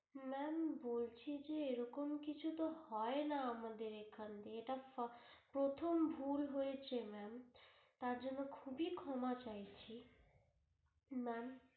ma'am বলছি যে এরকম কিছুতো হয়না আমাদের এখান দিয়ে প্রথম ভুল হয়েছে ma'am তার জন্য খুবই ক্ষমা চাইছি ma'am